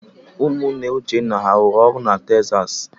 Ụmụnne Uchenna ha rụrụ ụlọ na Texas?